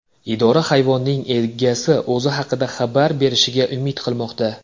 Idora hayvonning egasi o‘zi haqida xabar berishiga umid qilmoqda.